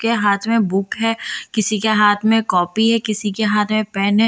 के हाथ में बुक है किसी के हाथ में कॉपी है किसी के हाथ में पेन है देख --